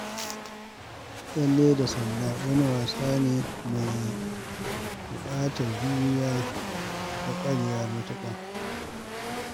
Tsalle da sanda wani wasa ne mai buƙatar juriya da ƙwarewa matuƙa.